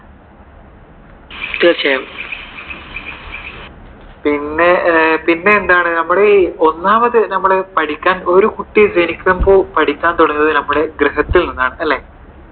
തീർച്ചയായും. പിന്നെ. പിന്നെ എന്താണ്? നമ്മുടെ ഈ ഒന്നാമത്തെ നമ്മുടെ ഈ പഠിക്കാൻ, ഒരു കുട്ടി ജനിക്കുമ്പോൾ പഠിക്കാൻ തുടങ്ങുന്നത് നമ്മുടെ ഗൃഹത്തിൽ നിന്നാണ്. അല്ലെ?